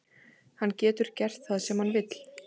Hann getur gert það sem hann vill.